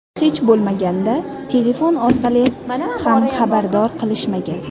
Hech bo‘lmaganda telefon orqali ham xabardor qilishmagan.